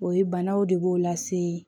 O ye banaw de b'o lase